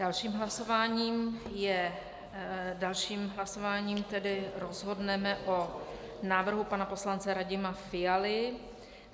Dalším hlasováním je, dalším hlasováním tedy rozhodneme o návrhu pana poslance Radima Fialy.